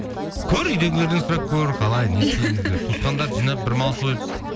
көр үйдегілерден сұрап көр қалай не істейміз деп туысқандарды жинап бір мал сойып